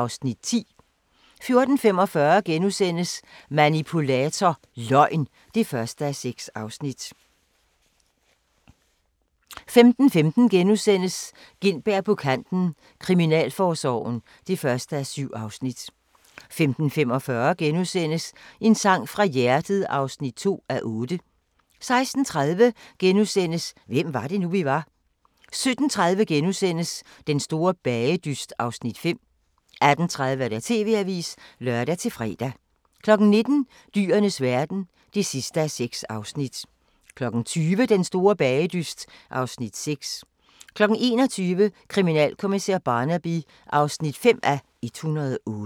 14:00: Sygeplejerskerne II (Afs. 10)* 14:45: Manipulator – Løgn (1:6)* 15:15: Gintberg på kanten – Kriminalforsorgen (1:7)* 15:45: En sang fra hjertet (2:8)* 16:30: Hvem var det nu, vi var? * 17:30: Den store bagedyst (Afs. 5)* 18:30: TV-avisen (lør-fre) 19:00: Dyrenes verden (6:6) 20:00: Den store bagedyst (Afs. 6) 21:00: Kriminalkommissær Barnaby (5:108)